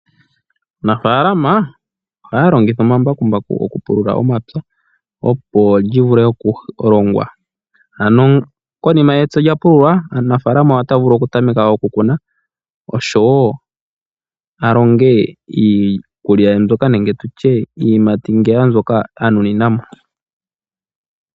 Aanafaalama ohaya longitha omambakumbaku okupulula omapya, opo lyi vule okulongwa, ano konima sho epya lya pululwa omunafaalama ota vulu oku tameka oku kuna oshowo a longe iikulya ye mbyoka nenge tutye iiyimati mbyoka a nunina mo.